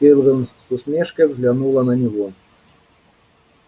кэлвин с усмешкой взглянула на него